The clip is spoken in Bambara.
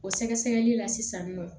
O sɛgɛsɛgɛli la sisan nin nɔ